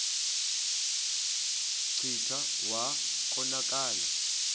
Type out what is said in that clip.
kclta wa konakala